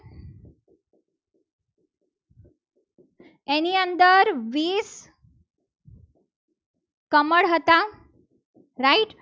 એની અંદર ટવેન્ટી કમળ હતા. right